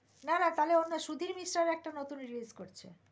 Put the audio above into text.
না না তাহলে অন্য সুধীর মিশ্রের একটা নতুন বই release করছে